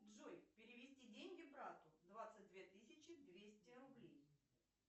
джой перевести деньги брату двадцать две тысячи двести рублей